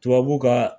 Tubabu ka